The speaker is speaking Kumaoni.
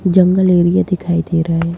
जंगल एरिया दिखाई दे रहा है।